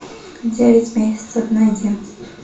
девять месяцев найди